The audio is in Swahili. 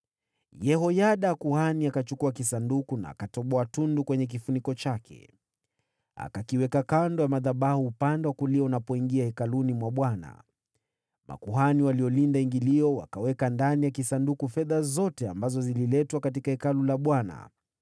Yehoyada kuhani akachukua kisanduku na akatoboa tundu kwenye kifuniko chake. Akakiweka kando ya madhabahu upande wa kulia unapoingia hekaluni mwa Bwana . Makuhani waliolinda ingilio wakaweka ndani ya kisanduku fedha zote ambazo zililetwa katika Hekalu la Bwana .